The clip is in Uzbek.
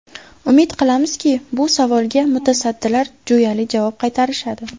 Umid qilamizki, bu savolga mutasaddilar jo‘yali javob qaytarishadi.